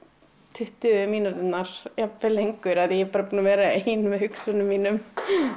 tuttugu mínúturnar jafnvel lengur af því að ég er bara búin að vera ein með hugsunum mínum